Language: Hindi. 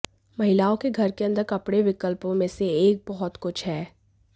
महिलाओं के घर के अंदर कपड़े विकल्पों में से एक बहुत कुछ है